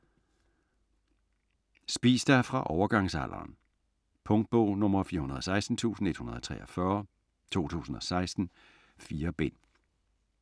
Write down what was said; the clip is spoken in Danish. Spis dig fra overgangsalderen Punktbog 416143 2016. 4 bind.